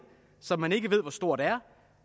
som man ikke ved hvor stort er